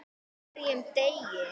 Er agaleysi hjá liðinu?